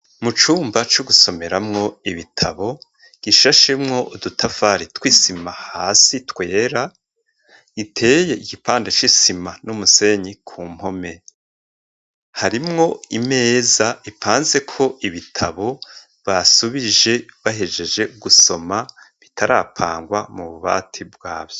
Mu cumba co gusomeramwo ibitabo gishashemwo udutafari twisima hasi twera, iteye igipande c'isima n'umusenyi ku mpome, harimwo imeza ipanzeko ibitabo basubije bahejeje gusoma bitarapangwa mu bubati bwavyo.